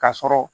Ka sɔrɔ